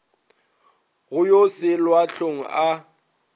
go yo selwa hlong a